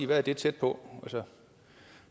hvad det er tæt på